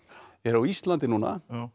er á Íslandi núna